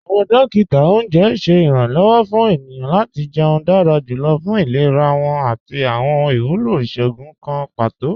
Awọn dòkítà ọ̀unjẹ ṣẹ̀ iranlọ́wọ̀ fún ènìyàn lati jẹ̀ún dára jùlọ̀ fún ìlẹ̀rà wọn àti awọn iwúlọ́ ìṣòogùn kàn pátò.